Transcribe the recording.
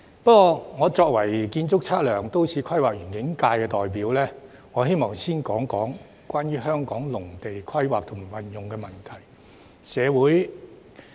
不過，我作為建築、測量、都市規劃及園境界代表，我希望先談談關於香港農地規劃及運用的問題。